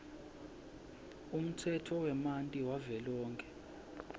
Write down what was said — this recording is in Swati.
umtsetfo wemanti wavelonkhe